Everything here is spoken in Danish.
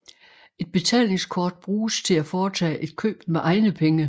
Et betalingskort bruges til at foretage et køb med egne penge